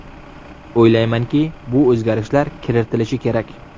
O‘ylaymanki, bu o‘zgarishlar kiritilishi kerak.